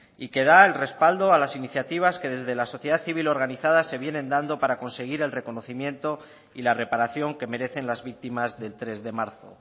y que da el respaldo a las iniciativas que desde la sociedad civil organizada se vienen dando para conseguir el reconocimiento y la reparación que merecen las víctimas del tres de marzo